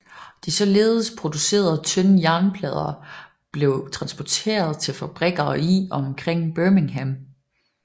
De således producerede tynde jernplader blev transporteret til fabrikker i og omkring Birmingham